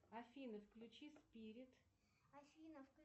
афина включи спирит